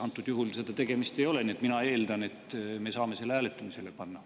Antud juhul seda tehtud ei ole, nii et mina eeldan, et me saame selle hääletamisele panna.